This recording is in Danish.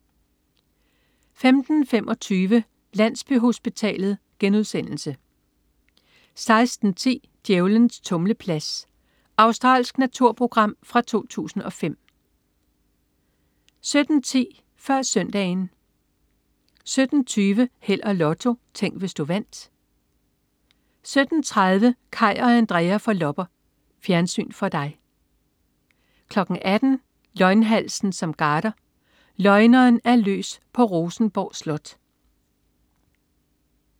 15.25 Landsbyhospitalet* 16.10 Djævlens tumleplads. Australsk naturprogram fra 2005 17.10 Før Søndagen 17.20 Held og Lotto. Tænk, hvis du vandt 17.30 Kaj og Andrea får lopper. Fjernsyn for dig 18.00 Løgnhalsen som garder. Løgneren er løs på Rosenborg slot